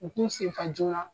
U k'u senfa joona